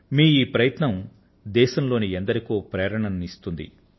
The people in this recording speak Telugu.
మీ ఈ ప్రయత్నం దేశంలోని ఎందరికో ప్రేరణను ఇస్తుంది